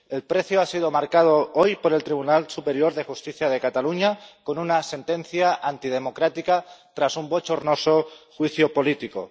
El precio ha sido marcado hoy por el Tribunal Superior de Justicia de Cataluña con una sentencia antidemocrática, tras un bochornoso juicio político.